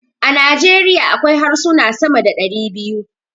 A Nijeriya akwai harsuna sama da dari biyu.